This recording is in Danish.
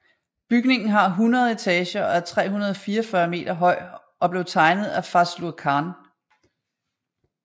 Bygningen har 100 etager og er 344 meter høj og blev tegnet af Fazlur Khan